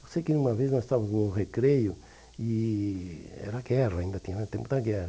Eu sei que uma vez nós estávamos em um recreio e era guerra, ainda tinha tempo da guerra.